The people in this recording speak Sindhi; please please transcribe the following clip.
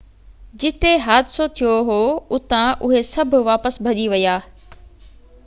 جتي حادثو ٿيو هو اتان اهي سڀ واپس ڀڄي ويا